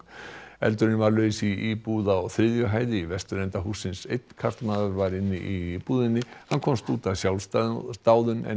eldurinn var laus í íbúð á þriðju hæð í vesturenda hússins einn karlmaður var í íbúðinni hann komst út af sjálfsdáðum áður en